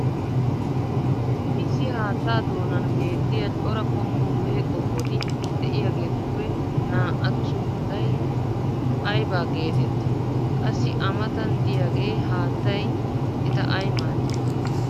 issi haattaa doonan beetiya cora qommo mehe qommoti diyaageetuppe naa"atu sunttay aybba geetettii? qassi a matan diyagee haattay eta ayi maadii?